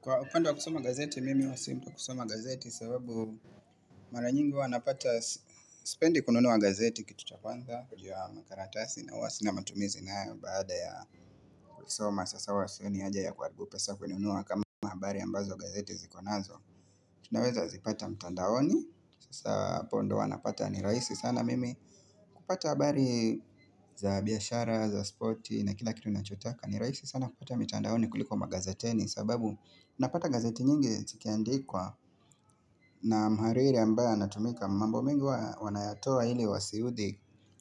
Kwa upande wa kusoma gazeti mimi huwasi mtu kusoma gazeti sababu mara nyingi huwanapata sipendi kununua gazeti kitu chakwanza juu ya makaratasi na huwasi na matumizi na baada ya kusoma sasa huwa sioni haja ya kuharibu pesa kununua kama habari ambazo gazeti zikonazo Tunaweza zipata mtandaoni sasa hapo ndo wanapata ni rahisi sana mimi kupata habari za biashara za spoti na kila kitu nachotaka nirahishi sana kupata mtandaoni kuliko magazeteni sababu unapata gazeti nyingi zikiandikwa na mhariri ambaye anatumika mambo mingi wanayatoa ili wasiudhi